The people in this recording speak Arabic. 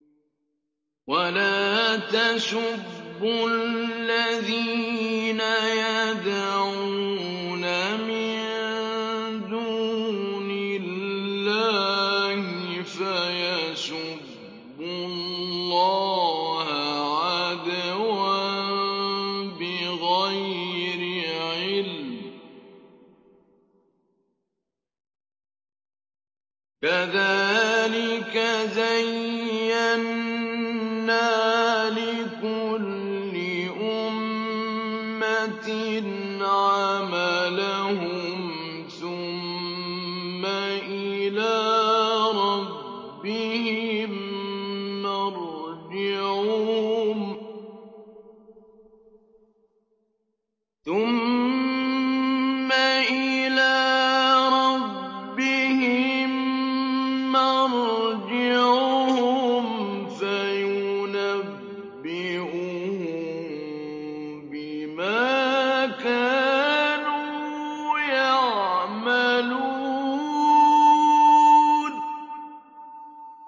وَلَا تَسُبُّوا الَّذِينَ يَدْعُونَ مِن دُونِ اللَّهِ فَيَسُبُّوا اللَّهَ عَدْوًا بِغَيْرِ عِلْمٍ ۗ كَذَٰلِكَ زَيَّنَّا لِكُلِّ أُمَّةٍ عَمَلَهُمْ ثُمَّ إِلَىٰ رَبِّهِم مَّرْجِعُهُمْ فَيُنَبِّئُهُم بِمَا كَانُوا يَعْمَلُونَ